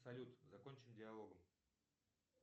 салют закончим диалогом